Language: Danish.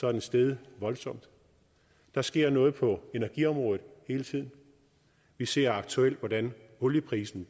er den steget voldsomt der sker noget på energiområdet hele tiden vi ser aktuelt hvordan olieprisen